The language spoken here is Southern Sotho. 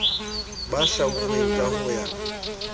ba hlwauweng ka ho ya